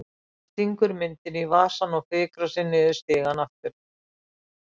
Hann stingur myndinni í vasann og fikrar sig niður stigann aftur.